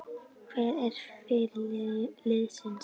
Hver er fyrirliði liðsins?